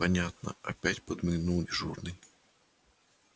понятно опять подмигнул дежурный